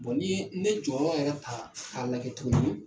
Bon ni ne jɔyɔrɔ yɛrɛ ta k'a lajɛ tuguni